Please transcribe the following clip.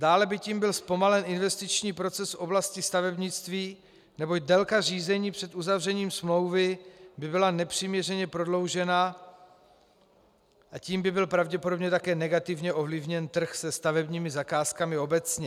Dále by tím byl zpomalen investiční proces v oblasti stavebnictví, neboť délka řízení před uzavřením smlouvy by byla nepřiměřeně prodloužena a tím by byl pravděpodobně také negativně ovlivněn trh se stavebními zakázkami obecně.